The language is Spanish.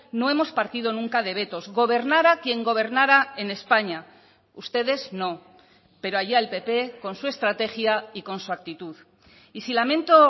no hemos partido nunca de vetos gobernara quien gobernara en españa ustedes no pero allá el pp con su estrategia y con su actitud y si lamento